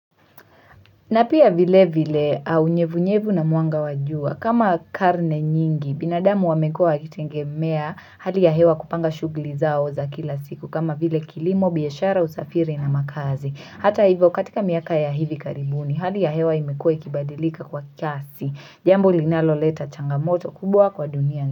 Napia vile vile unyevunyevu na mwanga wa jua kama karne nyingi binadamu wamekua wakitegemea hali ya hewa kupanga shughuli zao za kila siku kama vile kilimo biashara usafiri na makazi hata hivyo katika miaka ya hivi karibuni hali ya hewa imekua ikibadilika kwa kasi jambo linaloleta changamoto kubwa kwa dunia.